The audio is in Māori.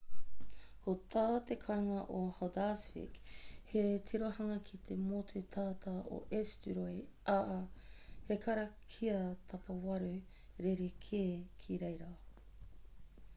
ko tā te kāinga o haldarsvik he tirohanga ki te motu tata o esturoy ā he karakia tapawaru rerekē ki reira